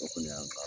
O kɔni y'an